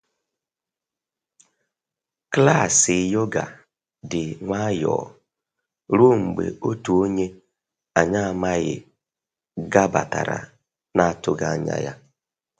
Klaasị yoga dị nwayọ ruo mgbe otu onye anyị amaghị gabatara na atụghị anya ya